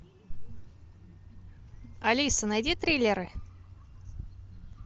алиса найди триллеры